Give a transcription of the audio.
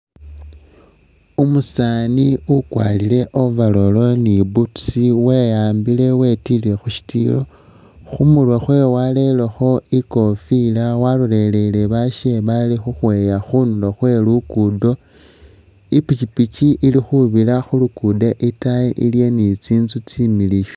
Umusaani ukwarire overall ni boots weyambile wetilile khu shitiiyo ,khumurwe khwewe warerekho ikofila walolelele bashe bali khukhweya khundulo khwe lugudo ,i'pikyipikyi ili khubira khu lugudo itaayi iliyo ni tsinzu tsimiliyu